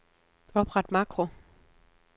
Opret makro.